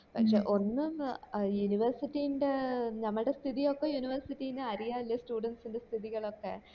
പക്ഷെ ഒന്ന് ന്ന university ൻറ നമ്മടെ സ്ഥിതി ഒക്കെ university നു അറിയാലോ students ൻറെ സ്ഥിതികൾ ഒക്കെ